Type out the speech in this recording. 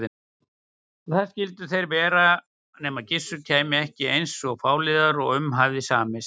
Og þar skyldu þeir vera nema Gissur kæmi ekki eins fáliðaður og um hafði samist.